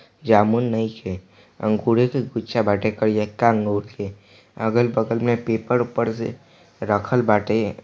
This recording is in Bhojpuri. जामुन नइखे अंगूढे के गुच्छा बाटे करियका आँगुर के अगल-बगल में पेपर-ओप्पर से रखल बाटे।